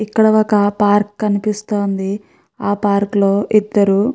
ఇక్కడ ఒక పార్క్ కనిపిస్తోంది. ఆ పార్క్ లో ఇద్దరూ --